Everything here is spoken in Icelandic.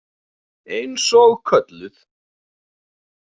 Eins og kölluð.